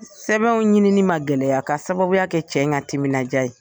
Sɛbɛnw ɲinini ma gɛlɛya ka sababuya kɛ cɛ in ka timina diya ye.